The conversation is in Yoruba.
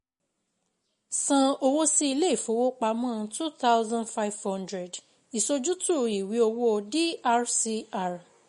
San owó sí ilé ìfowópamọ́ two thousand five hundred ìsojúùtú Ìwé Owó Dr Cr